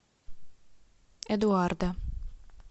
эдуарда